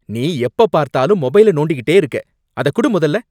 நீ எப்ப பார்த்தாலும் மொபைலை நோண்டிகிட்டே இருக்க, அதக் குடு முதல்ல